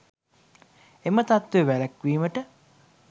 එම තත්ත්වය වැළැක්වීමට